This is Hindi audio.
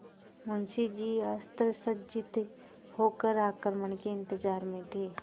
मुंशी जी अस्त्रसज्जित होकर आक्रमण के इंतजार में थे